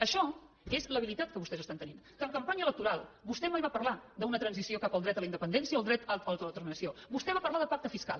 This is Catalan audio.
això és l’habilitat que vostès estan tenint que en campanya electoral vostè mai va parlar d’una transició cap al dret a la independència o el dret a l’autodeterminació vostè va parlar de pacte fiscal